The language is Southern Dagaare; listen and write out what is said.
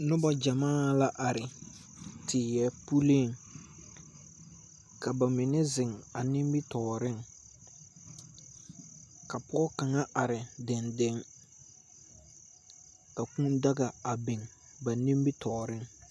Noba gyamaa la are teɛ puliŋ ka ba mine zeŋ a nimitɔɔreŋ, ka pɔge kaŋa are dendeŋe, ka kūū daga a biŋ ba nimitɔɔreŋ.